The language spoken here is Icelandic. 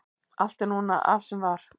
allt er núna af sem var